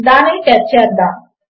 దానిని టెస్ట్ చేద్దాము